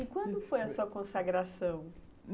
E quando foi a sua consagração?